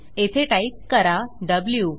येथे टाईप करा व्ही